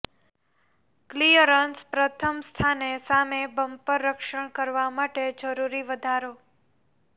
clearance પ્રથમ સ્થાને સામે બમ્પર રક્ષણ કરવા માટે જરૂરી વધારો